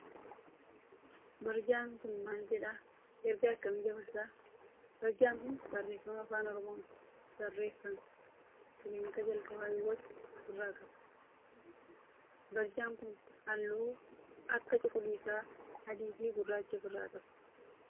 Barjaan kun maal jedha? Ergaa akkamii dabarsa? Barjaan kun barreefama afaan oromoon barreeffame kiliinika jalqabaa Hiwoot of irraa qaba. Barjaan kun halluu akka cuquliisa, adii fi gurraacha of irraa qaba.